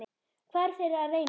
Hvað eru þau að reyna?